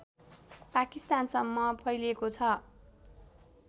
पाकिस्तानसम्म फैलेको छ